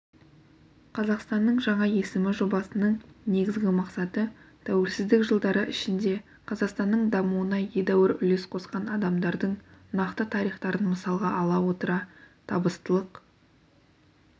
қазақстанның жаңа есімі жобасының негізгі мақсаты тәуелсіздік жылдары ішінде қазақстанның дамуына едәуір үлес қосқан адамдардың нақты тарихтарын мысалға ала отыра табыстылық